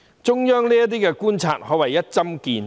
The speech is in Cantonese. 中央政府這些觀察可謂一針見血。